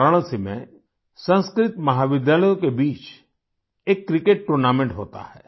वाराणसी में संस्कृत महाविद्यालयों के बीच एक क्रिकेट टूर्नामेंट होता है